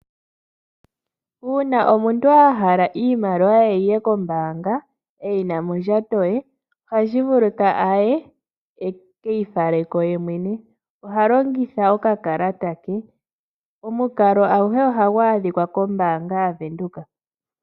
Uuna omuntu ahala iimaliwa ye yiye kombaanga eyi na mondjato ye, ohavulu okukeyi fala ko. Ohalongitha okakalata. Omukalo nguka ohagu adhika koombaanga adhihe.